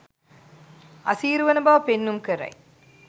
අසීරුවන බව පෙන්නුම් කරයි